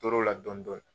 Tor'o la dɔɔnin dɔɔnin